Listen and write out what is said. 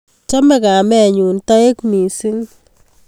Chome kamenyun toek mising